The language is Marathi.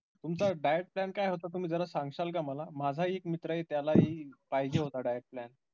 तुमचा diet plan काय होता तुम्ही जरा सांगचाल काय मला माझा एक मित्र आहे त्यालाहि पाहिजे होता diet plan